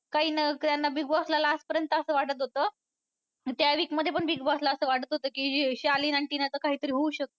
Bigg Boss ला last पर्यंत असं वाटत होतं त्या week मध्ये पण Big Boss ला असं वाटत होतं की शालीनआणि टिनाचं काहीतरी होऊ शकतं.